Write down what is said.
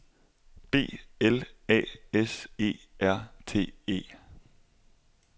B L A S E R T E